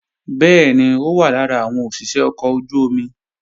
Bẹ́ẹ̀ni, ó wà lára àwọn òṣìṣé ọkọ̀ ojú-omi